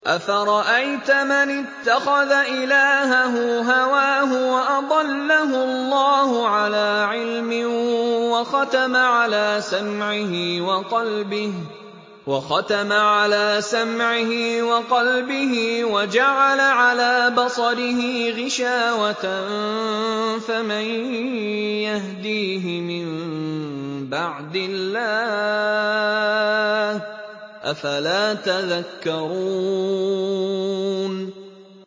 أَفَرَأَيْتَ مَنِ اتَّخَذَ إِلَٰهَهُ هَوَاهُ وَأَضَلَّهُ اللَّهُ عَلَىٰ عِلْمٍ وَخَتَمَ عَلَىٰ سَمْعِهِ وَقَلْبِهِ وَجَعَلَ عَلَىٰ بَصَرِهِ غِشَاوَةً فَمَن يَهْدِيهِ مِن بَعْدِ اللَّهِ ۚ أَفَلَا تَذَكَّرُونَ